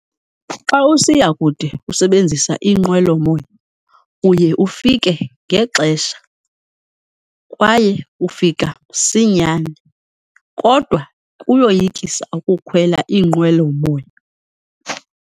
Xa usiya kude usebenzisa inqwelomoya uye ufike ngexesha kwaye ufika msinyane, kodwa kuyoyikisa ukukhwela iinqwelomoya.